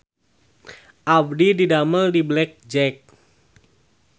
Abdi didamel di Black Jack